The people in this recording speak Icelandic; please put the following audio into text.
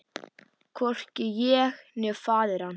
Hvorki ég né faðir hans.